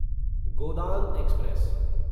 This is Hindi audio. गोदान एक्सप्रेस